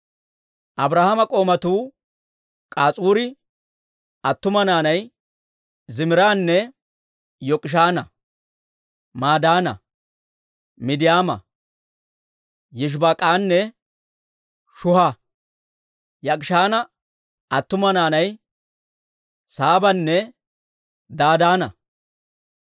Abrahaama k'oomatuu K'as'uri attuma naanay Ziimiraana, Yok'ishaana, Madaana, Midiyaama, Yishibaak'anne Shuha. Yok'ishaana attuma naanay Saabanne Dadaana.